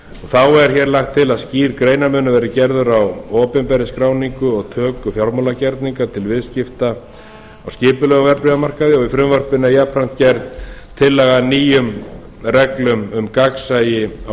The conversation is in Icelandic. þá er hér lagt til að skýr greinarmunur verði gerður á opinberri skráningu og töku fjármálagerninga til viðskipta á skipulegum verðbréfamarkaði og í frumvarpinu er jafnframt gerð tillaga að nýjum reglum um gagnsæi á